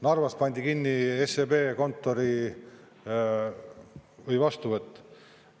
Narvas pandi kinni SEB kontori vastuvõtt.